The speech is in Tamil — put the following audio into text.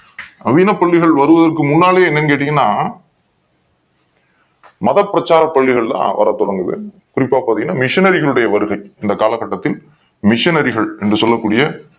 நவீன பள்ளிகள் வருவதற்கு முன்னாடியே என்னன்னு கேட்டீங்கன்னா மதப் பிரச்சார பள்ளிக்ள் தான் வரத் தொடங்குகிறது குறிப்பா பார்த்தீங்கன்னா missionary உடைய வருகை இந்த கால கட்டத்தில் missionary கள் என்று சொல்லக்கூடிய